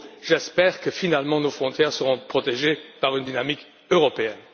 J'espère que, finalement, nos frontières seront protégées par une dynamique européenne.